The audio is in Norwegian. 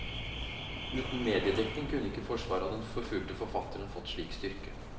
Uten mediedekning kunne ikke forsvaret av den forfulgte forfatteren fått slik styrke.